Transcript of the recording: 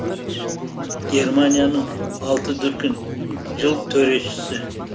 германияның алты дүркін жыл төрешісі